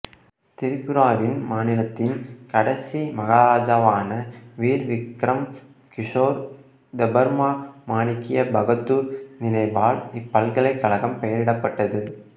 திரிபுராவின் மாநிலத்தின் கடைசி மகாராஜாவான வீர் விக்ரம் கிசோர் தெபர்மா மாணிக்ய பகதூர் நினைவால் இப்பல்கலைக்கழகம் பெயரிடப்பட்டது